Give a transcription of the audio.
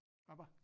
Hvaba?